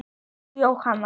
Elsku Jóhann.